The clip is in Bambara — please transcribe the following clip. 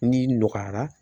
N'i nɔgɔyara